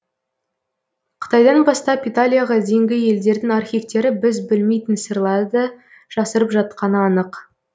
қытайдан бастап италияға дейінгі елдердің архивтері біз білмейтін сырларды жасырып жатқаны анық